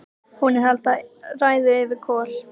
Hún er að halda ræðu yfir Kol: